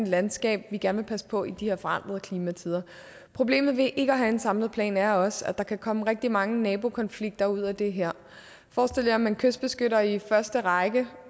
landskab vi gerne vil passe på i de her forandrede klimatider problemet ved ikke at have en samlet plan er også at der kan komme rigtig mange nabokonflikter ud af det her forestil jer at man kystbeskytter i første række